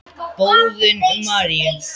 Boðun Maríu.